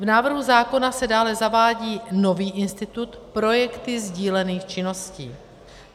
V návrhu zákona se dále zavádí nový institut projekty sdílených činností.